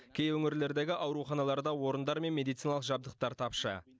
кей өңірлердегі ауруханаларда орындар мен медициналық жабдықтар тапшы